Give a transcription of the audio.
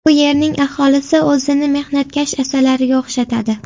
Bu yerning aholisi o‘zini mehnatkash asalariga o‘xshatadi.